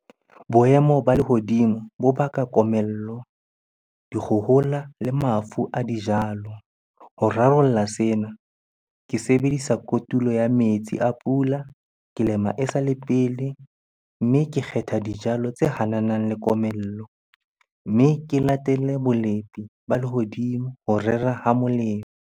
Boemo ba lehodimo bo baka komello, dikgohola le mafu a dijalo. Ho rarolla sena, ke sebedisa kotulo ya metsi a pula, ke lema esale pele, mme ke kgetha dijalo tse hananang le komello. Mme ke latelle bolepi ba lehodimo ho rera ha molemo.